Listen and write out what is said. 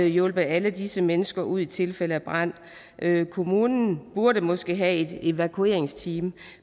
hjulpet alle disse mennesker ud i tilfælde af brand kommunen burde måske have et evakueringsteam